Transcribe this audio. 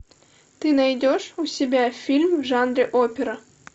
ты найдешь у себя фильм в жанре опера